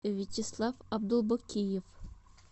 вячеслав абдулбакиев